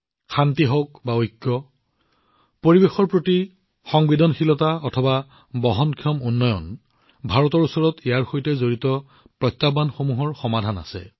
শান্তি হওক বা ঐক্য পৰিৱেশৰ প্ৰতি সংবেদনশীলতা হওক বা বহনক্ষম উন্নয়ন ভাৰতৰ ওচৰত এইবোৰৰ সৈতে সম্পৰ্কিত প্ৰত্যাহ্বানৰ সমাধান আছে